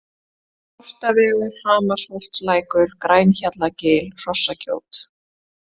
Sortavegur, Hamarsholtslækur, Grænhjallagil, Hrossagjót